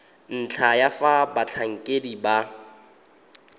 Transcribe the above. ntlha ya fa batlhankedi ba